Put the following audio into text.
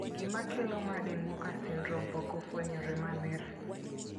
Gima kelo Marden Walker syndrome pok ofwenyore maler.